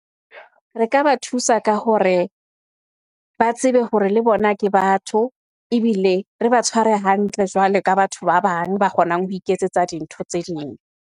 Re ka ba thusa ka hore ba tsebe hore le bona ke batho ebile re ba tshware hantle jwalo ka batho ba bang, ba kgonang ho iketsetsa dintho tse ding.